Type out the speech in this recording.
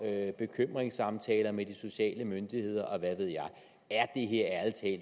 have bekymringssamtaler med de sociale myndigheder og hvad ved jeg er